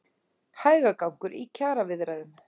Hægagangur í kjaraviðræðum